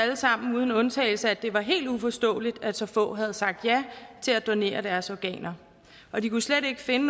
det var helt uforståeligt at så få havde sagt ja til at donere deres organer og de kunne slet ikke finde